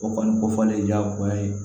O kɔni kofɔlen diyagoya ye